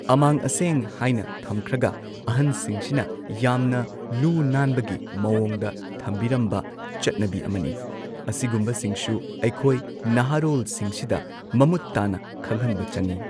ꯑꯃꯥꯡ ꯑꯁꯦꯡ ꯍꯥꯏꯅ ꯊꯝꯈ꯭ꯔꯒ ꯑꯍꯟꯁꯤꯡꯁꯤꯅ ꯌꯥꯝꯅ ꯂꯨꯅꯥꯟꯕꯒꯤ ꯃꯑꯣꯡꯗ ꯊꯝꯕꯤꯔꯝꯕ ꯆꯠꯅꯕꯤ ꯑꯃꯅꯤ ꯑꯁꯤꯒꯨꯝꯕꯁꯤꯡꯁꯨ ꯑꯩꯈꯣꯏ ꯅꯍꯥꯔꯣꯜꯁꯤꯡꯁꯤꯗ ꯃꯃꯨꯠ ꯇꯥꯅ ꯈꯪꯍꯟꯕ ꯆꯪꯉꯤ꯫